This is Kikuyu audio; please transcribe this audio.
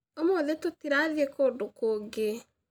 Ũmũthĩ tũtirathiĩ kũndũ kũngĩ